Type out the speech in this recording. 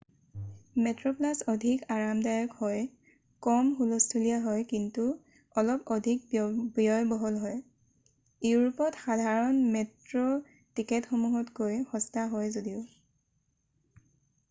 মেট্ৰ'প্লাছ অধিক আৰামদায়ক আৰু কম হুলস্থূলিয়া হয় কিন্তু অলপ অধিক ব্যয়বহুল হয় ইউৰোপত সাধাৰণ মেট্ৰ' টিকটসমূহতকৈও সস্তা হয় যদিও৷